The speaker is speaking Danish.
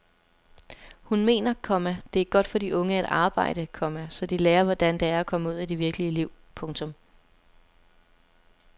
Hun mener, komma det er godt for de unge at arbejde, komma så de lærer hvordan det er at komme ud i det virkelige liv. punktum